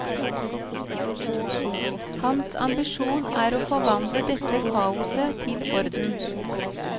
Hans ambisjon er å forvandle dette kaoset til orden.